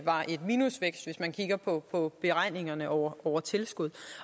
var en minusvækst hvis man kigger på på beregningerne over over tilskud